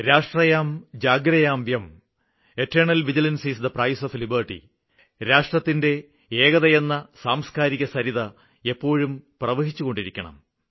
രാഷ്ട്രയാം ജാഗ്രയാം വ്യം eternal vigilance is the price of liberty രാഷ്ട്രത്തിന്റെ ഏകതയെന്ന സാംസ്കാരികസരിത എപ്പോഴും പ്രവഹിച്ചുകൊണ്ടിരിക്കണം